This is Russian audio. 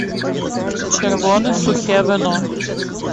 червона сухе вино